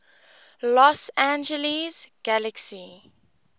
los angeles galaxy